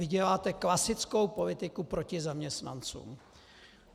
Vy děláte klasickou politiku proti zaměstnancům.